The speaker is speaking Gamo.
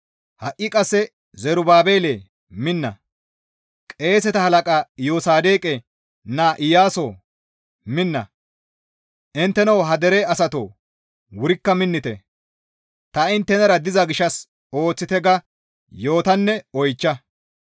Ha7i qasse Zerubaabelee minna! Qeeseta halaqa Iyosaadoqe naa Iyaasoo minna! Intteno ha dere asatoo wurikka minnite! Ta inttenara diza gishshas ooththite› ga yootanne oychcha.